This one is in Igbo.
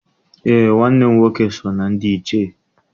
Eé, nwanne m nwoke so na ndị Ichie.